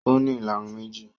Ó ní ìlarun méjì